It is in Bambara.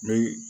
Ni